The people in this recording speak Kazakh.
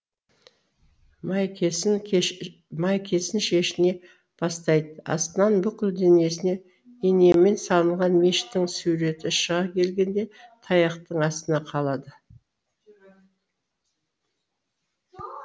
майкесін шешіне бастайды астынан бүкіл денесіне инемен салынған мешіттің суреті шыға келгенде таяқтың астына қалады